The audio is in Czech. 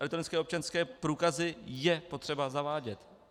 Elektronické občanské průkazy je potřeba zavádět.